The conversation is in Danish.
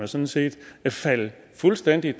sådan set er faldet fuldstændig